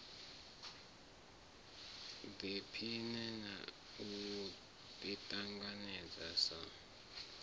ḓiphine na u ḓiṱanganedza sa